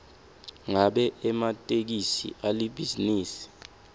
ngabe ematekisi alibhizinisi